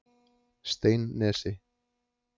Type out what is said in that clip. Steinnesi